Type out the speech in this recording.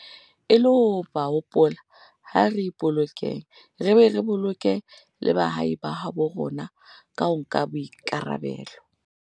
E le ho ba hopola, ha re ipolokeng re be re boloke le baahi ba habo rona ka ho nka boikarabelo.